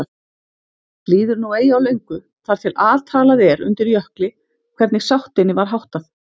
Líður nú eigi á löngu þar til altalað er undir Jökli hvernig sáttinni var háttað.